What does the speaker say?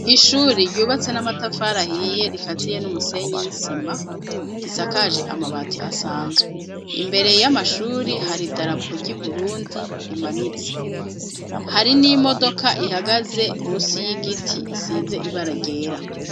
Ishuri, ryubatse n'amatafari ahiye, rikaziye n'umusenyi n'isima, risakaje amabati asanzwe; imbere y'amashuri, hari idarapo ry'i Burundi, rimanitse; hari n'imodoka, ihagaze munsi y'igiti, isize ibara ryera.